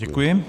Děkuji.